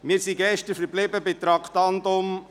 Wir sind gestern bei den Traktanden 64 und 65 verblieben.